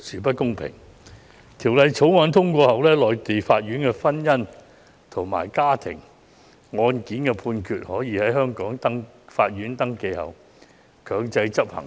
一旦《條例草案》獲通過，內地婚姻家庭案件判決經登記後，便可在香港法院強制執行。